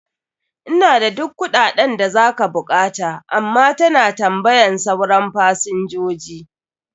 Ina da duk kuɗaɗen da za ka buƙata, amma ta na tambayan sauran fasinjoji.